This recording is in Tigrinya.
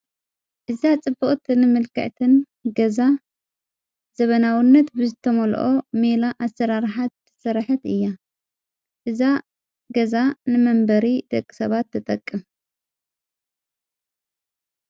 እዛ ጽበኦትን ምልካዕትን ገዛ ዘበናውነት ብዝተመልኦ ሜላ ኣሠራርሓት ሠራሐት እያ እዛ ገዛ ንመንበሪ ደቂ ሰባት ተጠቅም።